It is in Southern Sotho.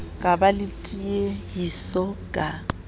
ka ba le tiehiso ka